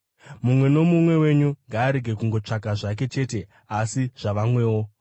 Mumwe nomumwe wenyu ngaarege kungotsvaka zvake chete, asi zvavamwewo.